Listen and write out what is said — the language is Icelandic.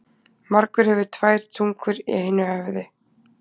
Margur hefur tvær tungur í einu höfði.